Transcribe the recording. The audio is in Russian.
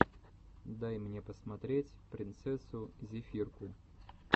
дай мне посмотреть принцессу зефирку